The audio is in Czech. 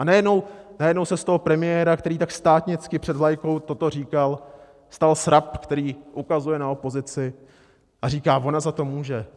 A najednou se z toho premiéra, který tak státnicky před vlajkou toto říkal, stal srab, který ukazuje na opozici a říká: Ona za to může.